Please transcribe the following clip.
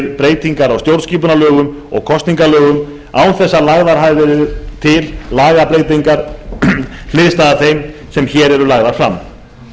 breytingar á stjórnarskipunarlögum og kosningalögum án þess að lagðar hafi verið til lagabreytingar hliðstæðar þeim sem hér eru lagðar fram